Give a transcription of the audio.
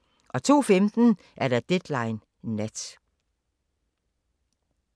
02:15: Deadline Nat